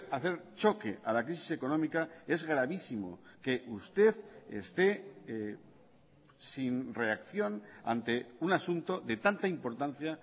hacer choque a la crisis económica es gravísimo que usted esté sin reacción ante un asunto de tanta importancia